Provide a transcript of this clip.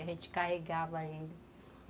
A gente carregava ele.